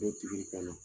Bɛ tigi ka na